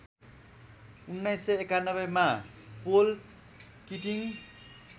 १९९१ मा Paul Keating